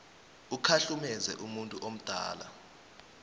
ukhahlumeze umuntu omdala